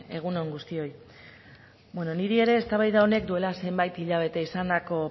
egun on guztioi niri ere eztabaida honek duela zenbait hilabete izandako